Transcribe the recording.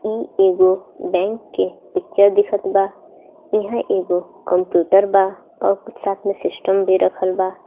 इ एगो बैंक के पिक्चर दिखत बा इहा एगो कंप्यूटर बा और साथ में सिस्टम भी रखल बा.